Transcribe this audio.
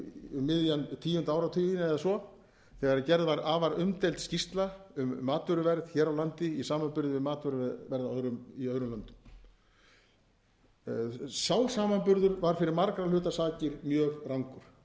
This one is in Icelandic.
miðjan tíunda áratuginn eða svo þegar gerð var afar umdeild skýrsla um matvöruverð hér á landi í samanburði við matvöruverð í öðrum löndum sá samanburður var fyrir margra hluta sakir mjög rangur sem þá var gerður